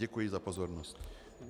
Děkuji za pozornost.